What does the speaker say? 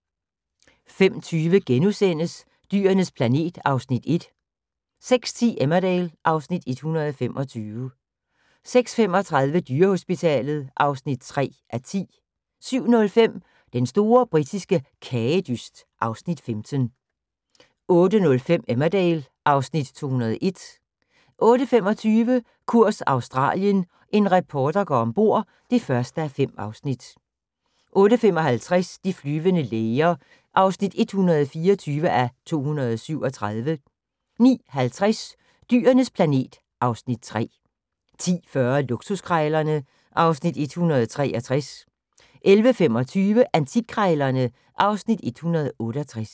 05:20: Dyrenes planet (Afs. 1)* 06:10: Emmerdale (Afs. 125) 06:35: Dyrehospitalet (3:10) 07:05: Den store britiske kagedyst (Afs. 15) 08:05: Emmerdale (Afs. 201) 08:25: Kurs Australien – en reporter går ombord (1:5) 08:55: De flyvende læger (124:237) 09:50: Dyrenes planet (Afs. 3) 10:40: Luksuskrejlernme (Afs. 163) 11:25: Antikkrejlerne (Afs. 168)